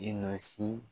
I nɔsi